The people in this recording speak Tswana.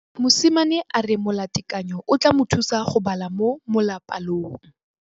Mosimane a re molatekanyô o tla mo thusa go bala mo molapalong.